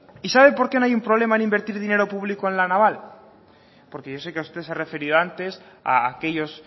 y sabe por qué no hay un problema en invertir dinero público en la naval porque yo sé que a usted se ha referido antes a aquellos